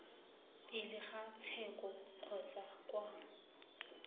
pele ga tsheko kgotsa kwa